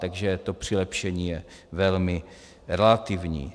Takže to přilepšení je velmi relativní.